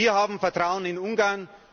Wir haben Vertrauen in Ungarn.